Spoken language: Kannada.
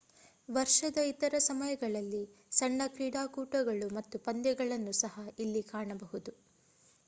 ವರ್ಷದ ಇತರ ಸಮಯಗಳಲ್ಲಿ ಸಣ್ಣ ಕ್ರೀಡಾಕೂಟಗಳು ಮತ್ತು ಪಂದ್ಯಗಳನ್ನು ಸಹ ಇಲ್ಲಿ ಕಾಣಬಹುದು